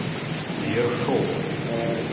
ершов